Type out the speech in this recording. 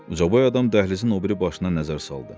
Ucaboy adam dəhlizin o biri başına nəzər saldı.